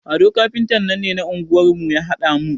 Ado kafintan nan ne na anguwar mu ya haɗa mun.